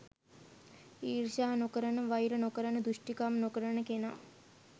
ඊර්ෂ්‍යා නොකරන වෛර නොකරන දුෂ්ටකම් නොකරන කෙනා